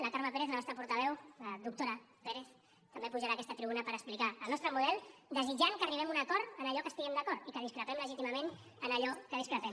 la carme pérez la nostra portaveu la doctora pérez també pujarà a aquesta tribuna per explicar el nostre model desitjant que arribem a un acord en allò que estiguem d’acord i que discrepem legítimament en allò que discrepem